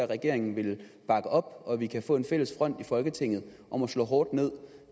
regeringen vil bakke op og at vi kan få en fælles front i folketinget om at slå hårdt ned